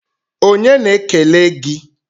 Onye na-ekele gi?